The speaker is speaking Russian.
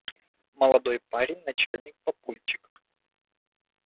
молодой парень начал папульчик